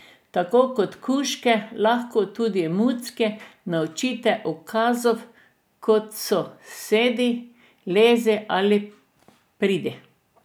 Tako kot kužke lahko tudi mucke naučite ukazov kot so sedi, lezi ali pridi.